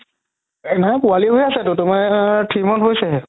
অহ নাই পোৱালি হয় আছেতো আ three month হৈছে হে